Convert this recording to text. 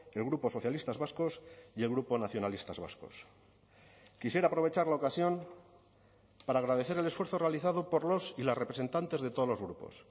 el grupo socialistas vascos y el grupo nacionalistas vascos quisiera aprovechar la ocasión para agradecer el esfuerzo realizado por los y las representantes de todos los grupos